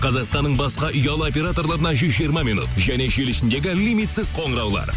қазақстанның басқа ұялы операторларына жүз жиырма минут және желі ішіндегі лимитсіз қоңыраулар